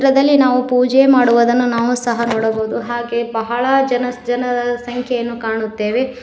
ಇದರಲ್ಲಿ ನಾವು ಪೂಜೆ ಮಾಡುವದನ್ನ ನಾವು ಸಹ ನೋಡಬಹುದು ಹಾಗೆ ಬಹಳ ಜನಸ್ ಜನದ ಸಂಖ್ಯೆಯನ್ನು ಕಾಣುತ್ತೆವೆ.